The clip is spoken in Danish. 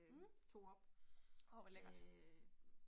Mh. Åh hvor lækkert